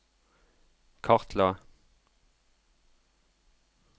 kartla